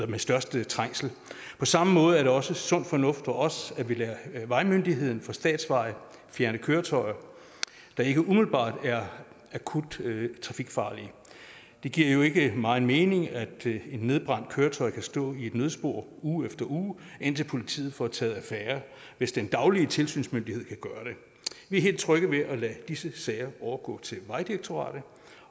med størst trængsel på samme måde er det også sund fornuft for os at vi lader vejmyndigheden for statsvejene fjerne køretøjer der ikke umiddelbart er akut trafikfarlige det giver jo ikke meget mening at et nedbrændt køretøj kan stå i et nødspor uge efter uge indtil politiet får taget affære hvis den daglige tilsynsmyndighed kan gøre det vi er helt trygge ved at lade disse sager overgå til vejdirektoratet